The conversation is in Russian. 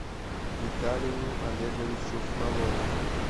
виталию олеговичу фролову